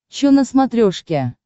че на смотрешке